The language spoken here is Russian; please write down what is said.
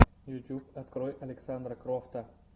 ютуб открой александра крофта